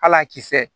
Hal'a kisɛ